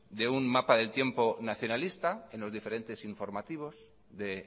de un mapa del tiempo nacionalista en los diferentes informativos de